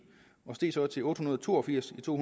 og steg så til otte hundrede og to og firs i to